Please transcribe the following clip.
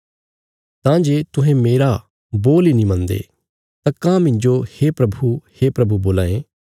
तां जे तुहें मेरा बोल इ नीं मनदे तां काँह मिन्जो हे प्रभु हे प्रभु बोल्लां ये